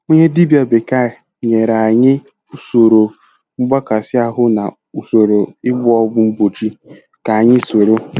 Onye dibịa bekee nyere anyị usoro mgbakasị ahụ na usoro ịgba ọgwụ mgbochi ka anyị soro.